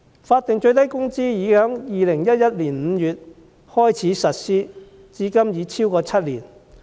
法定最低工資已在2011年5月開始實施，至今已超過7年。